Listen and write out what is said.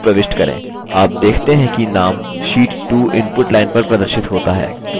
आप देखते हैं कि name sheet 2 input line पर प्रदर्शित होता है